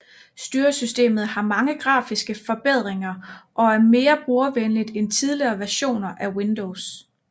Styresystemet har mange grafiske forbedringer og er mere brugervenligt end tidligere versioner af Windows